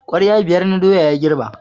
Kwarya biyar na doya ya girbe.